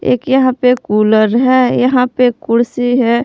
एक यहां पे कूलर है यहां पे कुर्सी है।